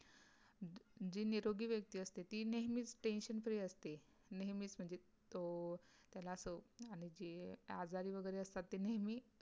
छे नीग्रोई वियक्ति असते ते नेहमी